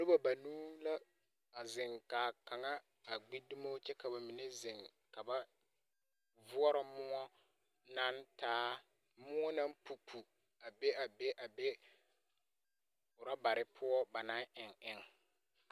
Noba banuu la a zeŋ, k'a kaŋa a gbi dumo kyɛ ka ba mine zeŋ. Ka ba voɔrɔ moɔ naŋ taa moɔ naŋ pupu a be a be a be rɔbare poɔ ba naŋ eŋ eŋ.